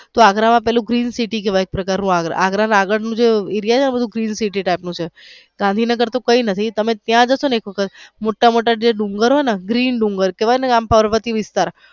અગ્ર માં પેલું green city કેવાઈ એક પ્રકણ નું અગ્ર અગ્ર નું આગળ નું જે green city type નું છે ગાંધીનગર તો કઈ નથી તમે ત્યાં જાસો ને એક વખત મોટા મોટા જે ડુંગરો હોઈ ને ગ્રીન ડુંગર કેવાઈ ને આમ પાર્વતી વિસ્તાર.